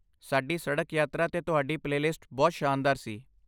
ਸਾਡੀ ਸੜਕੀ ਯਾਤਰਾ 'ਤੇ ਤੁਹਾਡੀ ਪਲੇਲਿਸਟ ਬਹੁਤ ਸ਼ਾਨਦਾਰ ਸੀ।